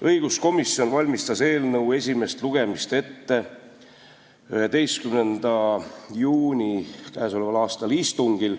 Õiguskomisjon valmistas eelnõu esimest lugemist ette 11. juuni istungil,